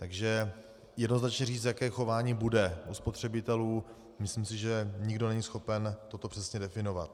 Takže jednoznačně říct, jaké chování bude u spotřebitelů, myslím si, že nikdo není schopen toto přesně definovat.